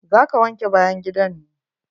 Za ka wanke bayan gidan ne?